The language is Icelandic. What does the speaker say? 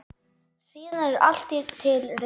Síðan er allt til reiðu.